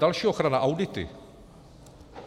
Další ochrana - audity.